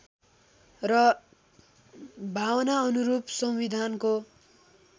र भावनाअनुरूप संविधानको